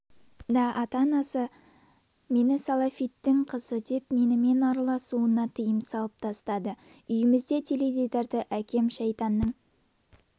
да ата-анасы мені салафиттің қызы деп менімен араласуына тыйым салып тастады үйімізде теледидарды әкем шайтанның